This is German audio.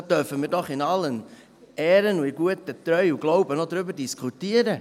Da dürfen wir doch in allen Ehren und in Treu und Glauben noch darüber diskutieren!